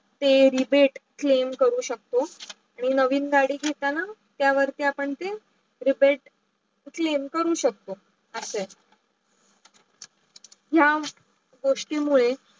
ते rebate claim करू शकतो आणी नवीन गाडी घेताना त्या वरती आपण ते rebate claim करू शकतो. असे आहे. या गोष्टी मुडे